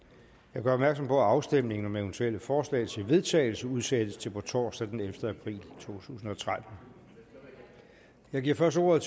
jeg gør opmærksom på at afstemning om eventuelle forslag til vedtagelse udsættes til torsdag den ellevte april to tusind og tretten jeg giver først ordet